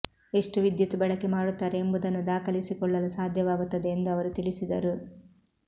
ಎಷ್ಟು ವಿದ್ಯುತ್ ಬಳಕೆ ಮಾಡುತ್ತಾರೆ ಎಂಬುದನ್ನು ದಾಖಲಿಸಿಕೊಳ್ಳಲು ಸಾಧ್ಯವಾಗುತ್ತದೆ ಎಂದು ಅವರು ತಿಳಿಸಿದರು